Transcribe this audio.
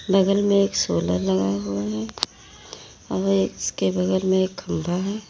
बगल में एक सोलर लगाया हुआ है और उसके बगल में एक खंभा है।